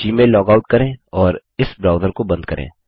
Gmail log out करें और इस ब्राउज़र को बंद करें